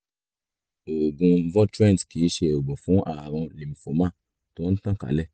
oògùn votrient kìí ṣe oògùn fún ààrùn lymphoma tó ń tàn kálẹ̀